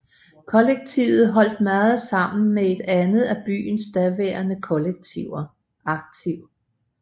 Kollektivet holdt meget sammen med et andet af byens daværende kollektiver Aktiv